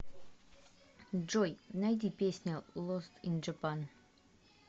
джой найди песня лост ин джапан